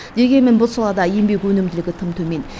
дегенмен бұл салада еңбек өнімділігі тым төмен